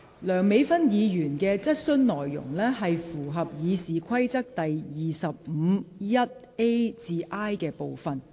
梁美芬議員的質詢內容，符合《議事規則》第25條1款 a 至 i 段的規定。